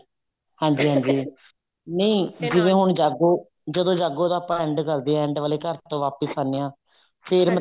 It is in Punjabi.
ਹਾਂਜੀ ਹਾਂਜੀ ਨਹੀਂ ਜਿਵੇਂ ਹੁਣ ਜਾਗੋ ਜਦੋਂ ਜਾਗੋ ਦਾ ਆਪਾਂ end ਕਰਦੇ ਹਾਂ end ਵਾਲੇ ਘਰ ਤੋਂ ਵਾਪਿਸ ਆਉਂਦੇ ਹਾਂ ਫੇਰ